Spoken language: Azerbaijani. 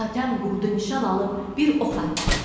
Hatəm qurudu nişan alıb bir ox atdı.